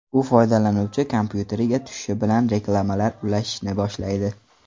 U foydalanuvchi kompyuteriga tushishi bilan reklamalar ulashishni boshlaydi.